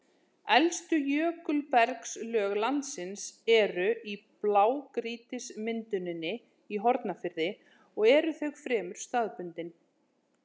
Elstu jökulbergslög landsins eru í blágrýtismynduninni í Hornafirði og eru þau fremur staðbundin.